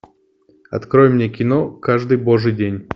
открой мне кино каждый божий день